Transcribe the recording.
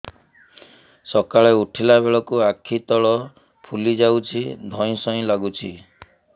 ସକାଳେ ଉଠିଲା ବେଳକୁ ଆଖି ତଳ ଫୁଲି ଯାଉଛି ଧଇଁ ସଇଁ ଲାଗୁଚି